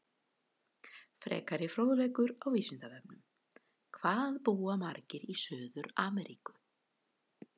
Frekari fróðleikur á Vísindavefnum: Hvað búa margir í Suður-Ameríku?